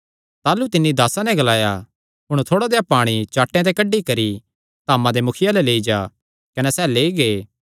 ताह़लू तिन्नी दासां नैं ग्लाया हुण थोड़ा देहया पाणी चाट्टेयां ते कड्डी करी धामा दे मुखिये अल्ल लेई जा कने सैह़ लेई गै